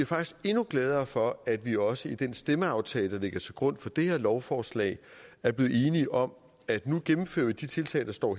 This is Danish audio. faktisk endnu gladere for at vi også i den stemmeaftale der ligger til grund for det her lovforslag er blevet enige om at vi nu gennemfører de tiltag der står